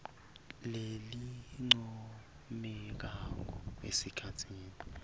lelincomekako esikhatsini